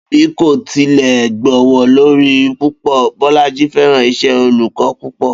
Bí kò tilè̩ gbówó lórí púpò̩, Bó̩lájí fé̩̀ràn isè̩ olù̩kó̩ púpò̩